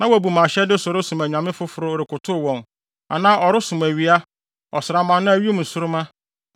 na wabu mʼahyɛde so resom anyame afoforo, rekotow wɔn; anaa ɔresom owia, ɔsram anaa wim nsoromma,